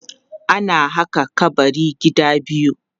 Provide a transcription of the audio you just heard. ana haka kabari gida biyu